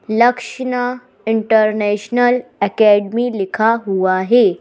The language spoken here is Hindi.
लक्षणा इंटरनेशनल अकेडमी लिखा हुआ है।